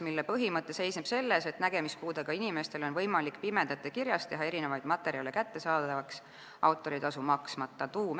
Selle põhimõte seisneb selles, et nägemispuudega inimestele oleks võimalik pimedate kirjas teha erinevaid materjale kättesaadavaks autoritasu maksmata.